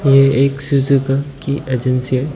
ये एक सुजुकी की एजेंसी --